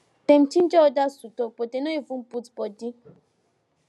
dem ginger others to talk but them no even put body